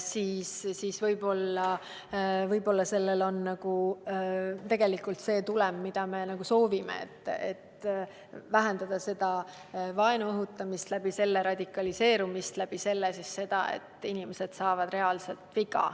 siis võib-olla sellel on tegelikult see tulem, mida me soovime, et vähendada vaenu õhutamist ja läbi selle radikaliseerumist ning läbi selle seda, et inimesed saavad reaalselt viga.